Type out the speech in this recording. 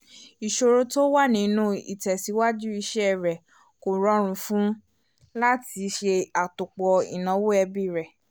ìsọ̀rọ̀ tó wà nínú ìtẹ̀síwájú iṣẹ́ rẹ̀ kó rọrùn fún un láti ṣe àtòpọ̀ ináwó ẹbí rẹ